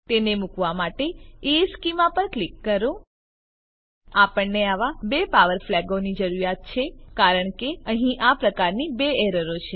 તેને મુકવા માટે ઇશ્ચેમાં પર ક્લિક કરો આપણને આવા બે પાવર ફ્લેગોની જરૂરીયાત છે કારણ કે અહીં આ પ્રકારની બે એરરો છે